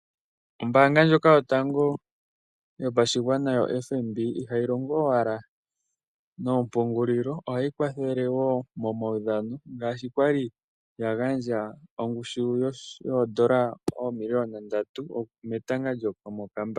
Ombaanga ndjoka yo tango yo pashingwana yo FNB iha yi longo owala noompungulilo, oha yi kwathele wo momawudhano ngaashi kwa li ya gandja ongushu yoodola oomiliyona ndatu ketanga lyomo kambamba.